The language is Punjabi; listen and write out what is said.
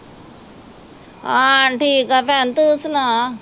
ਆ ਠੀਕ ਆ ਭੈਣ, ਤੂੰ ਸੁਣਾ